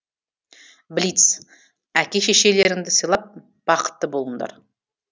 блиц әке шешелеріңді сыйлап бақытты болыңдар